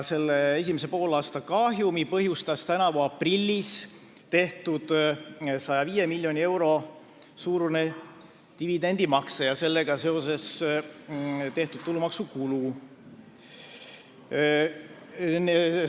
Esimese poolaasta kahjumi põhjustas tänavu aprillis tehtud 105 miljoni euro suurune dividendimakse ja sellega seotud tulumaksukulu.